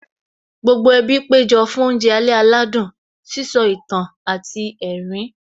Gbogbo ẹbí péjọ fún oúnjẹ alẹ́ aládùn, sísọ ìtàn àti ẹ̀rín